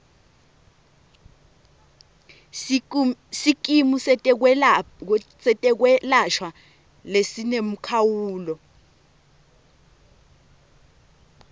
sikimu setekwelashwa lesinemkhawulo